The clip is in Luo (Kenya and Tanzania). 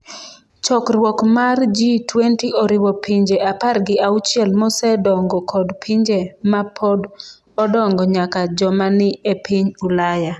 Chokruok mar G20 oriwo pinje apar gi auchiel mosedongo kod pinje ma pod odongo nyaka joma ni e piny Ulaya.